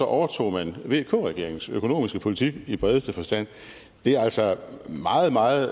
overtog man vk regeringens økonomiske politik i bredeste forstand det er altså meget meget